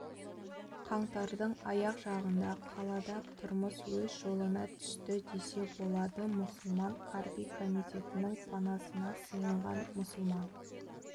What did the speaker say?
қаңтардың аяқ жағында қалада тұрмыс өз жолына түсті десе болады мұсылман қарби комитетінің панасына сиынған мұсылман